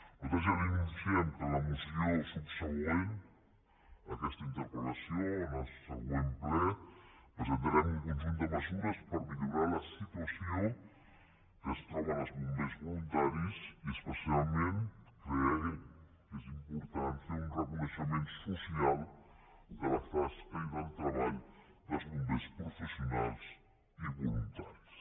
nosaltres ja li anunciem que a la moció subsegüent a aquesta interpel·conjunt de mesures per millorar la situació en què es troben els bombers voluntaris i especialment creiem que és important fer un reconeixement social de la tasca i del treball dels bombers professionals i voluntaris